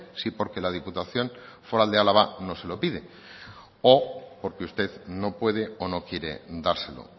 si porque la diputación foral de álava no se lo pide o porque usted no puede o no quiere dárselo